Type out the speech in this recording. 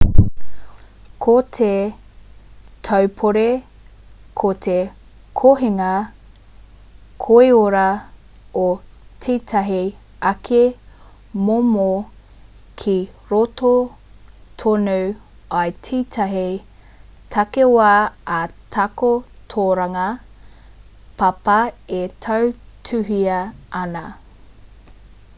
ko te taupori ko te kohinga koiora o tētahi ake momo ki roto tonu i tētahi takiwā ā-takotoranga papa e tautuhia ana